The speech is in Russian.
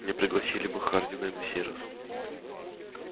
не пригласили бы хардина и на сей раз